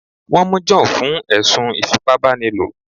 Wọ́n mú John fún ẹ̀sùn ìfipábánilo